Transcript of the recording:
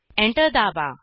enter दाबा